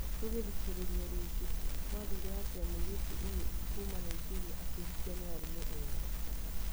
Ndũngithikereria rĩngĩ gwathire atia mũiritu ũyũ kuuma Nigeria akihikio ni arũme eri?